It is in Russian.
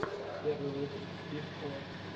первый выпуск стив о